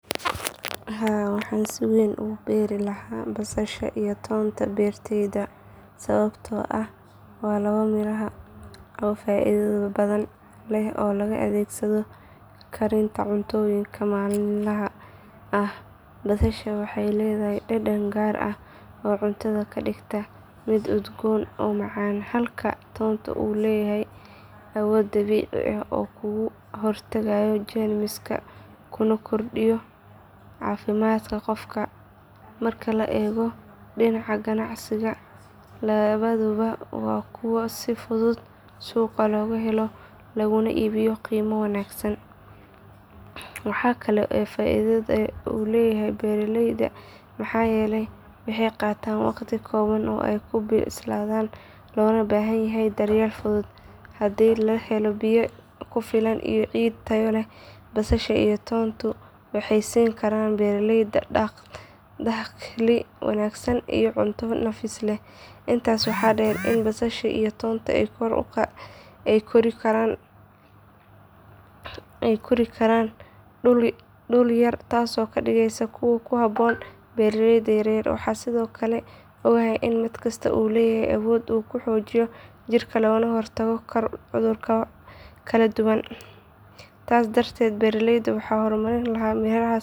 Haa waxaan si weyn ugu beeri lahaa basasha iyo toon beertayda sababtoo ah waa laba miraha oo faa’iido badan leh oo loo adeegsado karinta cuntooyinka maalinlaha ah. Basasha waxay leedahay dhadhan gaar ah oo cuntada ka dhigta mid udgoon oo macaan halka toonku uu leeyahay awood dabiici ah oo uu kaga hortago jeermiska kuna kordhiyo caafimaadka qofka. Marka la eego dhinaca ganacsiga labaduba waa kuwo si fudud suuqa looga helo laguna iibiyo qiimo wanaagsan. Waxa kale oo ay faa’iido u leeyihiin beeraleyda maxaa yeelay waxay qaataan waqti kooban oo ay ku bislaadaan, loona baahan yahay daryeel fudud. Haddii la helo biyo ku filan iyo ciid tayo leh basasha iyo toonku waxay siin karaan beeraleyda dakhli wanaagsan iyo cunto nafis leh. Intaas waxaa dheer in basasha iyo toonka ay ku kori karaan dhul yar taasoo ka dhigaysa kuwo ku habboon beeraleyda yaryar. Waxaan sidoo kale ogahay in mid kasta uu leeyahay awood uu ku xoojiyo jirka loogana hortagi karo cudurro kala duwan. Taas darteed beertayda waxaan ka hormarin lahaa mirahaas faa’iidada badan.